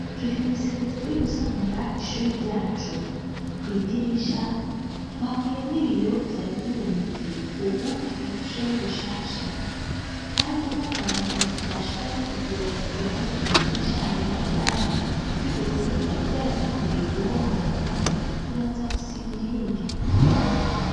turi mw'isekeza ryo gusanura ishuri ryacu. kw'idirisha, twakuyemwo ibiyo vyari bimenetse ubu tukigere dushiremwo bishasha, kandi n'ahantu bashiramw' ibiyo ku ruhande kw'idirisha harihari ibara ry'ubururu ryari ryaratanguye guhomoka, turaza gusiga irindi.